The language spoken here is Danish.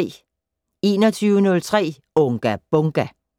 21:03: Unga Bunga!